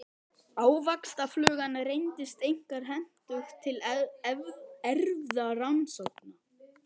Ávaxtaflugan reyndist einkar hentug til erfðarannsókna.